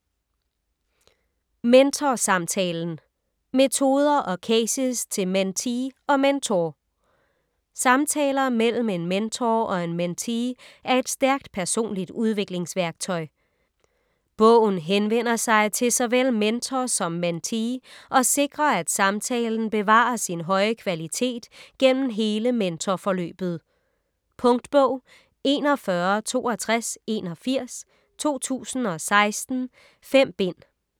Mentorsamtalen: metoder og cases til mentee og mentor Samtaler mellem en mentor og en mentee er et stærkt personligt udviklingsværktøj. Bogen henvender sig til såvel mentor som mentee, og sikrer at samtalen bevarer sin høje kvalitet gennem hele mentorforløbet. Punktbog 416281 2016. 5 bind.